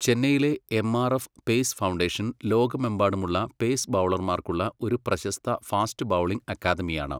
ചെന്നൈയിലെ MRF pace foundation ലോകമെമ്പാടുമുള്ള pace ബൗളർമാർക്കുള്ള ഒരു പ്രശസ്ത ഫാസ്റ്റ് ബൗളിംഗ് അക്കാദമിയാണ്.